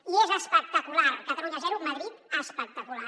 i és espec·tacular catalunya zero madrid espectacular